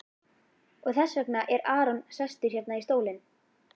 Og þess vegna er Aron sestur hérna í stólinn?